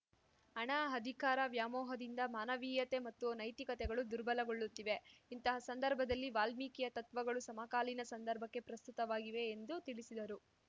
ಹಣ ಅಧಿಕಾರ ವ್ಯಾಮೋಹದಿಂದ ಮಾನವೀಯತೆ ಮತ್ತು ನೈತಿಕತೆಗಳು ದುರ್ಬಲಗೊಳ್ಳುತ್ತಿವೆ ಇಂತಹ ಸಂದರ್ಭದಲ್ಲಿ ವಾಲ್ಮೀಕಿಯ ತತ್ವಗಳು ಸಮಕಾಲೀನ ಸಂದರ್ಭಕ್ಕೆ ಪ್ರಸ್ತುತವಾಗಿವೆ ಎಂದು ತಿಳಿಸಿದರು